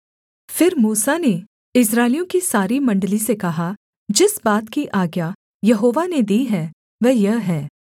फिर मूसा ने इस्राएलियों की सारी मण्डली से कहा जिस बात की आज्ञा यहोवा ने दी है वह यह है